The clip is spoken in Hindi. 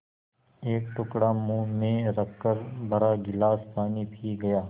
एक टुकड़ा मुँह में रखकर भरा गिलास पानी पी गया